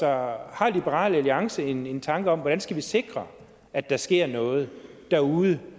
har liberal alliance en tanke om hvordan vi skal sikre at der sker noget derude